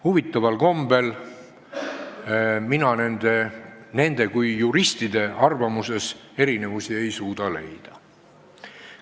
Huvitaval kombel ei suuda mina nende kui juristide arvamustes erinevusi leida.